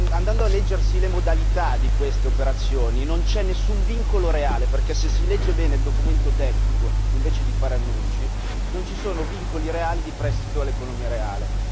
andando a leggersi le modalità di queste operazioni, non c'è nessun vincolo reale, perché se si legge bene il documento tecnico invece di fare annunci non ci sono vincoli reali di prestito dall'economia reale.